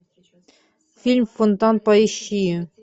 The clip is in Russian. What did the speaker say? фильм фонтан поищи